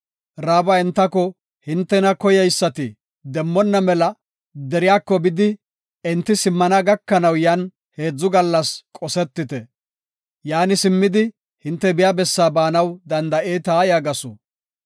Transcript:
Ra7aaba entako, “Hintena koyeysati demmonna mela deriyako, bidi enti simmana gakanaw yan heedzu gallas qosetite. Yaani simmidi, hinte biya bessa baanaw danda7eeta” yaagasu.